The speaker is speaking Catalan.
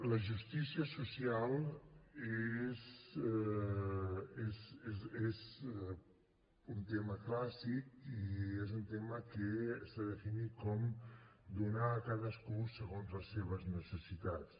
la justícia social és un tema clàssic i és un tema que s’ha definit com donar a cadascú segons les seves necessitats